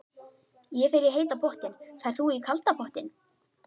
Ég fer í heita pottinn. Ferð þú í kalda pottinn?